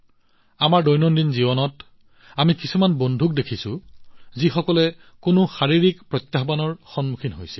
আমাৰ দৈনন্দিন জীৱনত আমি কিছুমান সহকৰ্মীকো দেখিছোঁ যিসকলে কিছু শাৰীৰিক প্ৰত্যাহ্বানৰ সন্মুখীন হৈছে